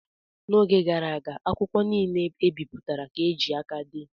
N'oge gara aga akwụkwọ niile e bipụtara ka e ji aka dee.